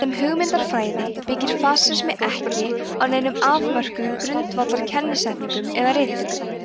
sem hugmyndafræði byggir fasismi ekki á neinum afmörkuðum grundvallar kennisetningum eða ritum